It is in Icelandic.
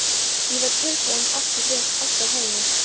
Ég var tilbúinn- allt á hreinu